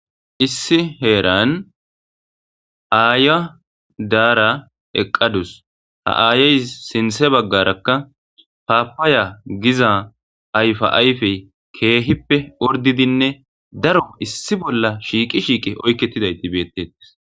issi heeran aaya daara eqqadus ha aayey sinthe baggarakka paapaya giza ayfa ayfey keehippe ordidinne daro issi bolla shiiqi shiiqe oykkettidayti beettettes